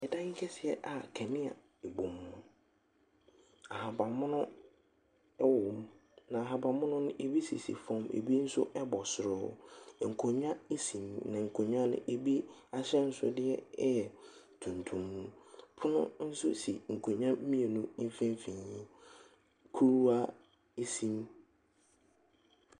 Dan kɛseɛ a kanea bobɔ mu, ahabanmono wɔ mu, na ahabanmono no, bi sisi fam bi nso bɔ soro hɔ. nkonnwa si mu, na nkonnwa no bi ahyɛnsodeɛ yɛ tuntum. Pono nso si nkonnwa mmienu mfimfini, kuruwa si mu.